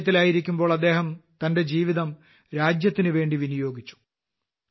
സൈന്യത്തിലായിരിക്കുമ്പോൾ അദ്ദേഹം തന്റെ ജീവിതം രാജ്യത്തിനുവേണ്ടി വിനിയോഗിച്ചു